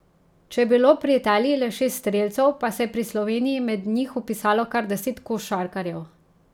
Če je bilo pri Italiji le šest strelcev, pa se je pri Sloveniji med njih vpisalo kar deset košarkarjev.